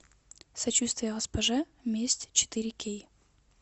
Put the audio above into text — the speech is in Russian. сочувствие госпоже месть четыре кей